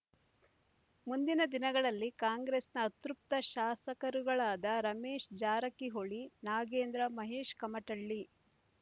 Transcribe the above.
ಮುಂದಿನ ದಿನಗಳಲ್ಲಿ ಕಾಂಗ್ರೆಸ್‌ನ ಅತೃಪ್ತ ಶಾಸಕರುಗಳಾದ ರಮೇಶ್ ಜಾರಕಿಹೊಳಿ ನಾಗೇಂದ್ರ ಮಹೇಶ್ ಕಮಟಳ್ಳಿ